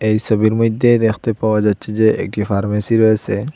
এই সবির মইধ্যে দেখতে পাওয়া যাচ্ছে যে একটি ফার্মেসি রয়েসে।